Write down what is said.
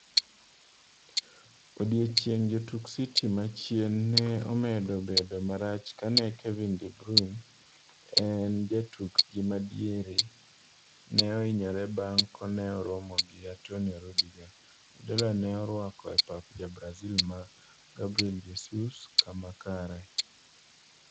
Odiochieng' jotuk City machien ne omedo bedo marach kane Kevin De Bruynema en jatukgi madiere ne ohinyore bang' kaneoromo gi Antonio Rudiger, Guardiola ne orwako e pap ja Brazil ma Gabriel Jesus kama kare.